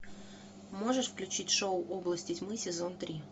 можешь включить шоу области тьмы сезон три